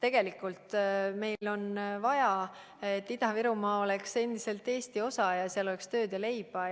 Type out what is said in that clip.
Tegelikult meil on vaja, et Ida-Virumaa oleks endiselt Eesti osa ja seal oleks tööd ja leiba.